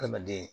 Adamaden